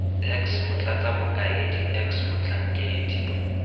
x motlatsa mokaedi x motlhankedi